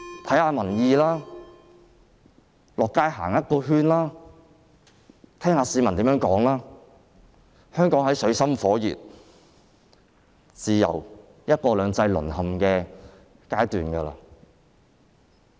請看看民意，到街上走一圈，聽聽市民怎麼說，香港已處於水深火熱、自由和"一國兩制"淪陷的階段。